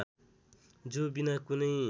जो बिना कुनै